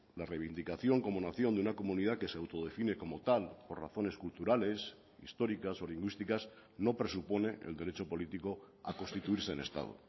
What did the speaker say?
la reivindicación como nación de una comunidad que se autodefine como tal por razones culturales históricas o lingüísticas no presupone el derecho político a constituirse en estado